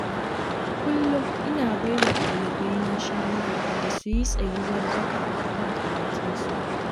Kullum ina baiwa ɗalibaina shawara da su yi tsayuwar daka a kan karatunsu.